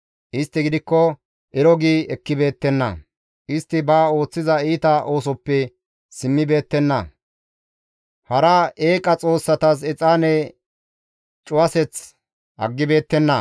Istti gidikko ero gi ekkibeettenna; istti ba ooththiza iita oosoppe simmibeettenna; hara eeqa xoossatas exaane cuwaseth aggibeettenna.